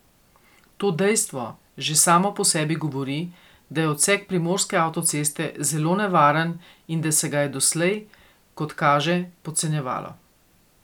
To dejstvo že samo po sebi govori, da je odsek primorske avtoceste zelo nevaren in da se ga je doslej, kot kaže, podcenjevalo.